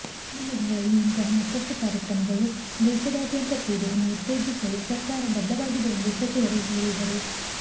ಮುಂದಿನ ದಿನಗಳಲ್ಲಿ ಇಂತಹ ಮತ್ತಷ್ಟು ಕಾರ್ಯಕ್ರಮಗಳು ದೇಶಾ ದ್ಯಂತ ಕ್ರೀಡೆಯನ್ನು ಉತ್ತೇಜಿಸಲು ಸರ್ಕಾರ ಬದ್ಧವಾಗಿದೆ ಎಂದು ಸಚಿವರು ಹೇಳಿದರು